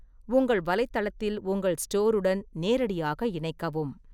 உங்கள் வலைத்தளத்தில் உங்கள் ஸ்டோருடன் நேரடியாக இணைக்கவும்.